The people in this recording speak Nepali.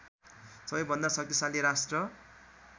सबैभन्दा शक्तिशाली राष्ट्र